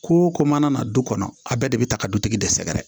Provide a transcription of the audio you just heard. Ko ko mana na du kɔnɔ a bɛɛ de bɛ ta ka dutigi de sɛgɛrɛ